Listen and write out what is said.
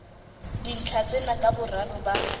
dintlha tsena ka boraro ba